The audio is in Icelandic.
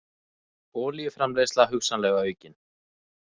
Olíuframleiðsla hugsanlega aukin